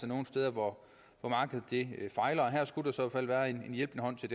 nogle steder hvor markedet fejler og her skulle der i så fald være en hjælpende hånd til